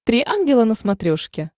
три ангела на смотрешке